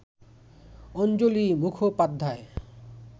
Anjali Mukhopadhyay